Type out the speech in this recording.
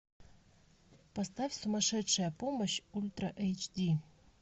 поставь сумасшедшая помощь ультра эйч ди